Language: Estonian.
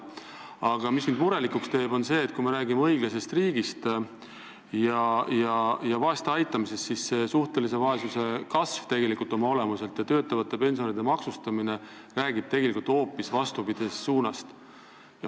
Aga mind teeb murelikuks see, et kui me räägime õiglasest riigist ja vaeste aitamisest, siis suhtelise vaesuse kasv ja töötavate pensionäride maksustamine räägib ju tegelikult hoopis vastupidisest suunast.